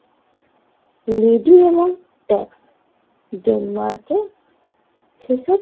lady এমন tax ডেনমার্কের থেকে